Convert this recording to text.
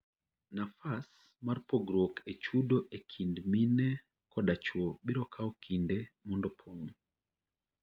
Nafas mar pogruok e chudo ekind mine koda chuo biro kao kinde mondo opong'.